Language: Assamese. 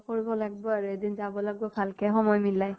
কৰিব লাগবো আৰু । এদিন যাব লাগবো, ভাল কে সময় মিলাই